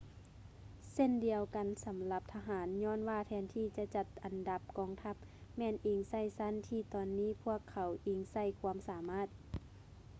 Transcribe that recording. ເຊັ່ນດຽວກັນສຳລັບທະຫານ ຍ້ອນວ່າແທນທີ່ຈະຈັດອັນດັບກອງທັບ ແມ່ນອີງໃສ່ຊັ້ນ ທີ່ຕອນນີ້ພວກເຂົາອີງໃສ່ຄວາມສາມາດ